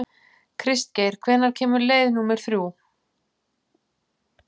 Kristgeir, hvenær kemur leið númer þrjú?